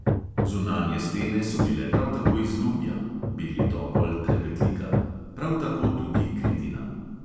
Zunanje stene so bile prav tako iz lubja (beli topol, trepetlika), prav tako tudi kritina.